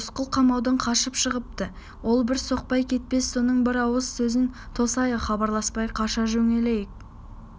рысқұл қамаудан қашып шығыпты ол бір соқпай кетпес соның бір ауыз сөзін тосайық хабарласпай қаша жөнелмейік